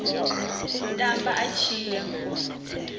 u tamba a tshi ya